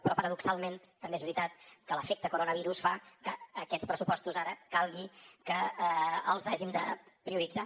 però paradoxalment també és veritat que l’efecte coronavirus fa que aquests pressupostos ara calgui que els hàgim de prioritzar